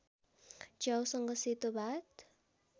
च्याउसँग सेतो भात